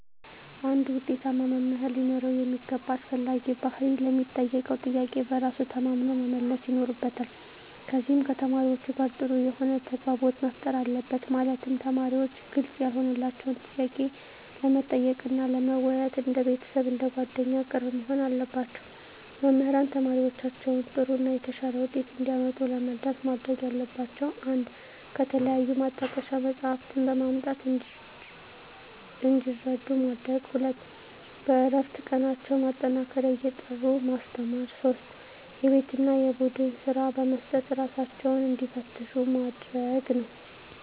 አንድ ውጤታማ መምህር ሊኖረው የሚገባ አስፈላጊ ባህሪ ለሚጠየቀው ጥያቄ በራሱ ተማምኖ መመለስ ይኖርበታል ከዚም ከተማሪዎቹ ጋር ጥሩ የሆነ ተግባቦት መፍጠር አለበት ማለትም ተማሪዎች ግልጽ ያልሆነላቸውን ጥያቄ ለመጠየቅ እና ለመወያየት እንደ ቤተሰብ አንደ ጓደኛ ቅርብ መሆን አለባቸው። መምህራን ተማሪዎቻቸውን ጥሩ እና የተሻለ ውጤት እንዲያመጡ ለመርዳት ማድረግ ያለባቸው 1 ከተለያዩ ማጣቀሻ መፅሃፍትን በማምጣት እንዲረዱ ማድረግ 2 በእረፍት ቀናቸው ማጠናከሪያ እየጠሩ ማስተማር 3 የቤት እና የቡድን ስራ በመስጠት እራሳቸውን እንዲፈትሹ ማድረግ ነው